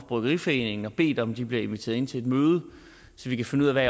bryggeriforeningen og bedt om at de bliver inviteret ind til et møde så vi kan finde ud af hvad